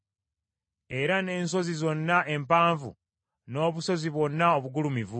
Era n’ensozi zonna empanvu, n’obusozi bwonna obugulumivu.